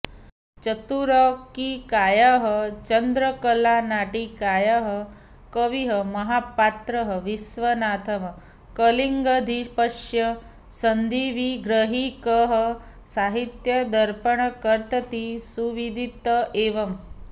चतुरङ्किकायाः चन्द्रकलानाटिकायाः कविः महापात्रः विश्वनाथः कलिङ्गाधिपस्य सन्धिविग्रहिकः साहित्यदर्पणकर्तेति सुविदित एव